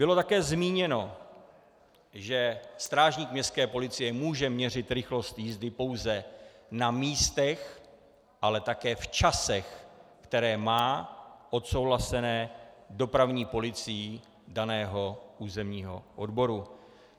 Bylo také zmíněno, že strážník městské policie může měřit rychlost jízdy pouze na místech, ale také v časech, které má odsouhlaseny dopravní policií daného územního odboru.